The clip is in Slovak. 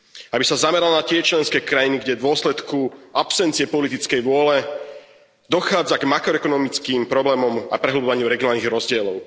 Aby sa zamerala na tie členské krajiny, kde v dôsledku absencie politickej vôle dochádza k makroekonomickým problémom a prehlbovaniu regionálnych rozdielov.